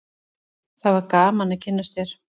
það var gaman að kynnast þér